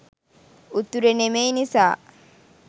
උතුරෙ නෙමෙයි නිසා